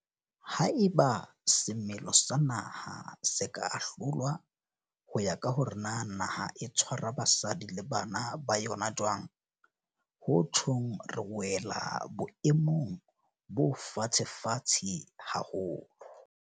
Haeba semelo sa naha se ka ahlolwa ho ya ka hore na naha e tshwara basadi le bana ba yona jwang, ho tjhong re wela boemong bo fatshefatshe haholo.